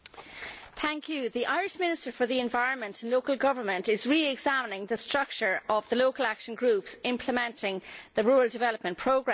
Mr President, the Irish Minister for the Environment and Local Government is re examining the structure of the local action groups implementing the rural development programme.